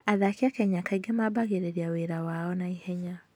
Athaki a Kenya kaingĩ mambĩrĩria wĩra wao na ihenya.